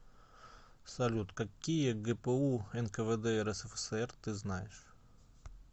салют какие гпу нквд рсфср ты знаешь